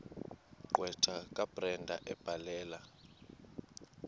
gqwetha kabrenda ebhalela